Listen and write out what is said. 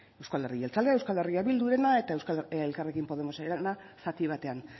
euzko alderdi jeltzalea euskal herria bildurena eta elkarrekin podemosena zati batean